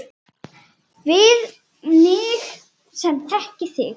Við mig sem þekki þig.